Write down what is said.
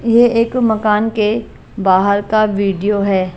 ये एक मकान के बाहर का वीडियो है।